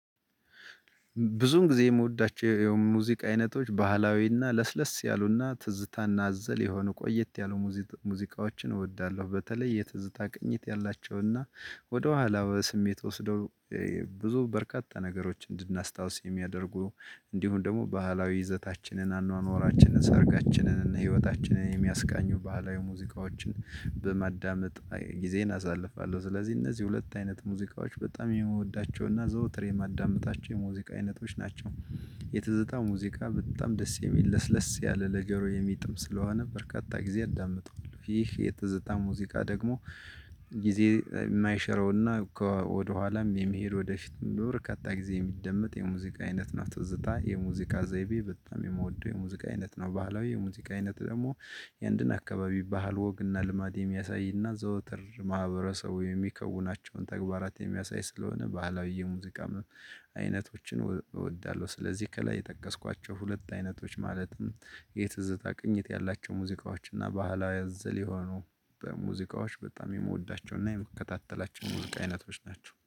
ብዙውን ጊዜ የምወዳቸው የሙዚቃ አይነቶች ባህላዊና ለስለስ ያሉና ትዝታና አዘል የሆነ ቆየት ያሉ ሙዚ ሙዚቃዎችን እወዳለሁ። በተለይ የትዝታ ቅኝት ያላቸውና ወደኋላ በስሜት ወስደው። ብዙ በርካታ ነገሮችን እንድናስታውስ የሚያደርጉ እንዲሁም ደግሞ ባህላዊ ይዘታችንን አኗኗራችንን ሰርጋችንን እና ህይወታችንን የሚያስቃኙ ባህላዊ ሙዚቃዎችን በመዳመጥ ጊዜየን አሳልፋለሁ። ስለዚህ እነዚህ ሁለት አይነት ሙዚቃዎች በጣም የምወዳቸውና ዘወትር የማዳምጣቸው የሙዚቃ አይነቶች ናቸው። የፅታ ሙዚቃ በጣም ደስ የሚል ለስለስ ያለ ነገሩ የሚጥም ስለሆነ በርካታ ጊዜ አዳምጠዋለሁ። ይህ የተዘጋ ሙዚቃ ደግሞ ጊዜ የማይሸረውና ከ ወደኋላም የመሄድ ወደፊትም ለበርካታ ጊዜ የሚደመጥ የሙዚቃ አይነት ነው ትዝታ የሙዚቃ ዘይቤ በጣም የምወደው የሙዚቃ አይነት ነው። ባህላዊ የሙዚቃ አይነት ደግሞ የአንድን አካባቢ ባህል ወግና ልማድ የሚያሳይና ዘወትር ማህበረሰቡ የሚከውናቸውን ተግባራት የሚያሳይ ስለሆነ ባህላዊ የሙዚቃ አይነቶችን እወዳለሁ። ስለዚህ ከላይ የጠቀስኳቸው ሁለት አይነቶች ማለትም የትዝታ ቅኝት ያላቸው ሙዚቃዎችና እና ባህላዊ አዘል የሆኑ በሙዚቃዎች በጣም የምወዳቸው እና የምከታተላቸው ሙዚቃ አይነቶች ናቸው